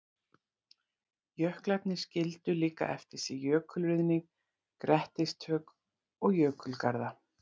Jöklarnir skildu líka eftir sig jökulruðning, grettistök og jökulgarða.